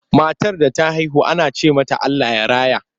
Matar da ta haihu ana ce mata Allah ya raya.